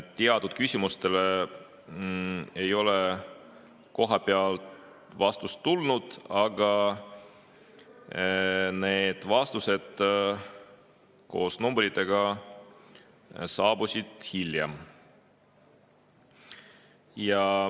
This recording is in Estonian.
Teatud küsimustele ei olnud vastust tulnud, aga need vastused koos numbritega saabusid hiljem.